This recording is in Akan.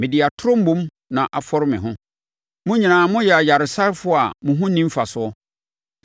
Mode atorɔ mmom na afɔre me ho; mo nyinaa moyɛ ayaresafoɔ a mo ho nni mfasoɔ!